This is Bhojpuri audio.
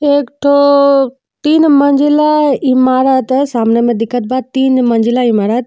एक ठो तीन मजिला इमारत सामने में देखत बा तीन मजिला इमारत --